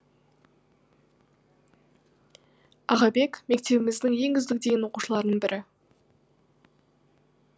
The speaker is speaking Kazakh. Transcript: ағабек мектебіміздің ең үздік деген оқушыларының бірі